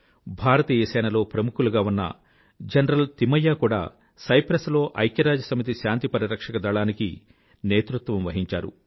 భారతీయ సేన లో ప్రముఖులుగా ఉన్న జనరల్ థిమయ్యా కూడా సైప్రస్ లో ఐక్యరాజ్యసమితి శాంతి పరిరక్షక దళానికి నేతృత్వం వహించారు